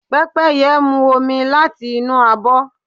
Pẹ́pẹ́yẹ́ mú omi láti inú abọ́.